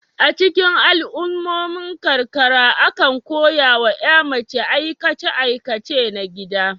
A cikin al'ummomin karkara, akan koya wa ƴa mace aikace aikace na gida.